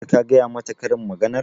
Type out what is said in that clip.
Har ka gaya mata karin maganar?